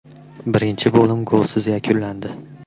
Birinchi bo‘lim golsiz yakunlandi.